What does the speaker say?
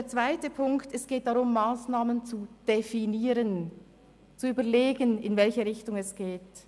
In Ziffer 2 geht es darum, Massnahmen zu definieren und zu überlegen, in welche Richtung es geht.